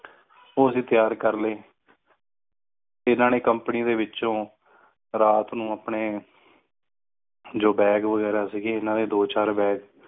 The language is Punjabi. ਊ ਅੱਸੀ ਤਿਆਰ ਲਈ ਇਨ੍ਹਾਂ ਨੇ company ਦੇ ਵਿਚੁ ਰਾਤ ਮੇਂ ਆਪਣੇ ਜੋ bag ਵਗ਼ੈਰਾ ਸੀ ਦੋ ਚਾਰ bag